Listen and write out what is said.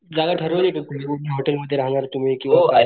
जागा ठरवली का कुठल्या कुठल्या हॉटेल मध्ये राहणार तुम्ही किंवा काय,